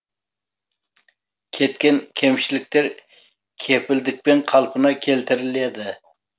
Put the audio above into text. кеткен кемшіліктер кепілдікпен қалпына келтіріледі